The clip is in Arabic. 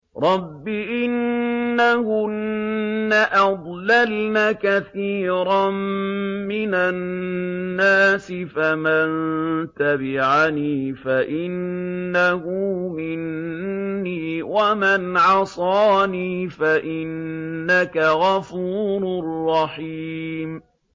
رَبِّ إِنَّهُنَّ أَضْلَلْنَ كَثِيرًا مِّنَ النَّاسِ ۖ فَمَن تَبِعَنِي فَإِنَّهُ مِنِّي ۖ وَمَنْ عَصَانِي فَإِنَّكَ غَفُورٌ رَّحِيمٌ